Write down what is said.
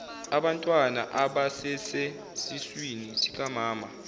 abantwana abasesesiswini sikamama